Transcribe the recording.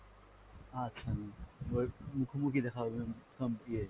আচ্ছা ma'am, এবার মুখোমুখি দেখা হবে ma'am